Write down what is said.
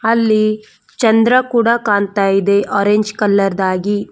ಅಲ್ಲಿ ಚಂದ್ರ ಕೂಡ ಕಾಣ್ತಾ ಇದೆ ಆರೇಂಜ್ ಕಲರ್ ದಾಗಿ.